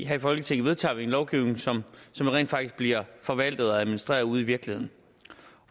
her i folketinget vedtager vi en lovgivning som rent faktisk bliver forvaltet og administreret ude i virkeligheden